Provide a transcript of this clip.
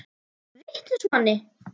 Ertu vitlaus Manni!